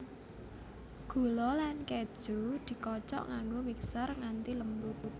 Gula lan keju dikocok nganggo mixer nganti lembut